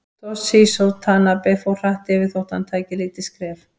Toshizo Tanabe fór hratt yfir þó hann tæki lítil skref.